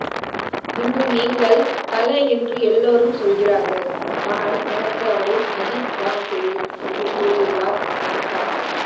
இன்று நீங்கள் தல என்று எல்லோரும் சொல்கிறார்கள் ஆனால் எனக்கு அவரை அஜித் தான் தெரியும் என்று கூறியுள்ளார் வனிதா